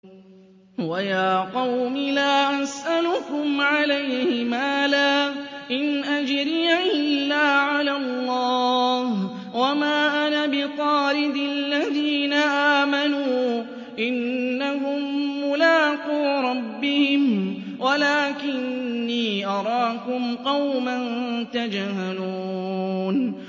وَيَا قَوْمِ لَا أَسْأَلُكُمْ عَلَيْهِ مَالًا ۖ إِنْ أَجْرِيَ إِلَّا عَلَى اللَّهِ ۚ وَمَا أَنَا بِطَارِدِ الَّذِينَ آمَنُوا ۚ إِنَّهُم مُّلَاقُو رَبِّهِمْ وَلَٰكِنِّي أَرَاكُمْ قَوْمًا تَجْهَلُونَ